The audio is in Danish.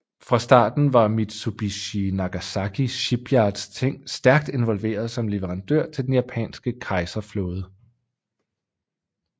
Fra starten var Mitsubishi Nagasaki shipyards stærkt involveret som leverandør til den japanske kejser flåde